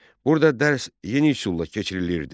Burda dərs yeni üsulla keçirilirdi.